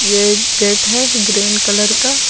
यह एक गेट है ग्रीन कलर का।